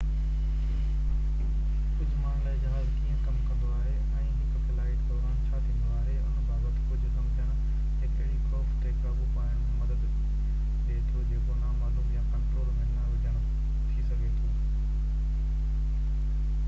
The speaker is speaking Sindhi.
ڪجهه ماڻهن لاءِ جهاز ڪيئن ڪم ڪندو آهي ۽ هڪ فلائيٽ دوران ڇا ٿيندو آهي ان بابت ڪجهه سمجهڻ هڪ اهڙي خوف تي قابو پائڻ ۾ مدد ڏي ٿو جيڪو نامعلوم يا ڪنٽرول ۾ نه هجڻ ٿي سگهي ٿو